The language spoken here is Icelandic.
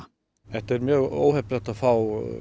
þetta er mjög óheppilegt að fá